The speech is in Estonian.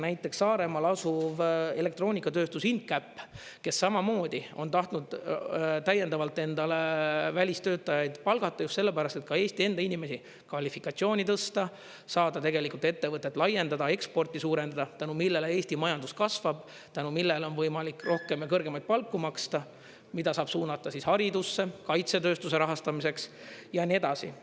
Näiteks Saaremaal asuv elektroonikatööstus Incap, kes samamoodi on tahtnud täiendavalt endale välistöötajaid palgata just sellepärast, et ka Eesti enda inimesi kvalifikatsiooni tõsta, saada tegelikult ettevõtet laiendada, eksporti suurendada, tänu millele Eesti majandus kasvab, tänu millele on võimalik rohkem ja kõrgemaid palku maksta, mida saab suunata siis haridusse, kaitsetööstuse rahastamiseks ja nii edasi.